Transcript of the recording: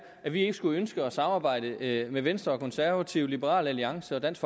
at vi ikke skulle ønske at samarbejde med med venstre og konservative liberal alliance og dansk